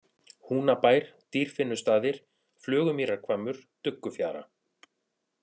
Húnabær, Dýrfinnustaðir, Flugumýrarhvammur, Duggufjara